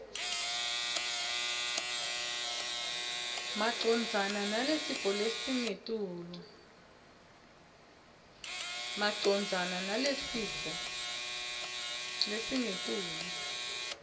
macondzana nalesifo lesingetulu